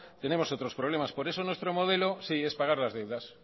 tenemos otros problemas por eso nuestro modelo sí es pagar las deudas